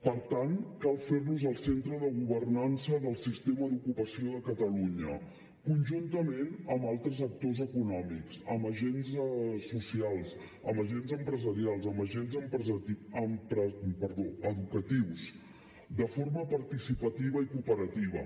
per tant cal fer los el centre de governança del sistema d’ocupació de catalunya conjuntament amb altres actors econòmics amb agents socials amb agents empresarials amb agents educatius de forma participativa i cooperativa